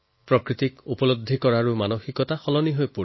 প্ৰকৃতিৰ প্ৰতি আমাৰ দৃষ্টিভংগীও সলনি হৈছে